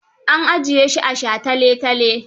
An ajiye shi a sha tale-tale.